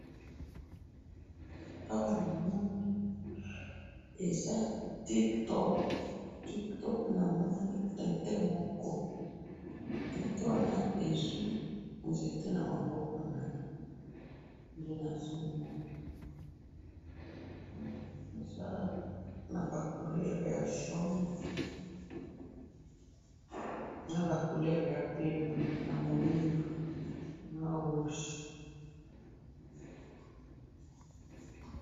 awa namoni eza tip top ,tip top namoni tintin moko, tintin wana ezwi nzete na maboko naye eza naba couleur ya jaune naba couleur ya mwindou na rouge.